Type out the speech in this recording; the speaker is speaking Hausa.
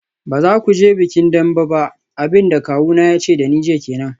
Ba za ku je bikin Dembe ba, abin da kawuna ya ce da ni jiya kenan.